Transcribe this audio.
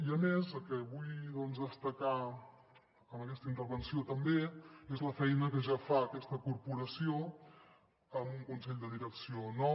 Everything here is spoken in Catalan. i a més el que vull destacar amb aquesta intervenció també és la feina que ja fa aquesta corporació amb un consell de direcció nou